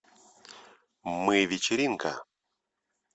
мы вечеринка